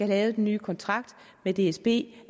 lavet den nye kontrakt med dsb